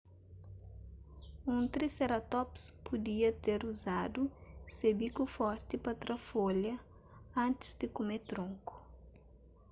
un triceratops pudia ter uzadu se biku forti pa tra folha antis di kume tronku